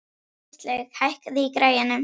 Íslaug, hækkaðu í græjunum.